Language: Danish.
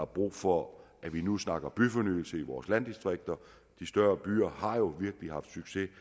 brug for at vi nu snakker byfornyelse i vores landdistrikter de større byer har jo virkelig haft succes